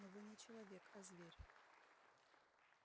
но вы не человек а зверь